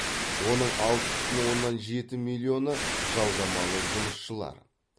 оның алты бүтін оннан жеті миллионы жалдамалы жұмысшылар